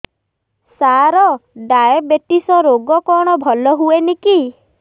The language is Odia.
ସାର ଡାଏବେଟିସ ରୋଗ କଣ ଭଲ ହୁଏନି କି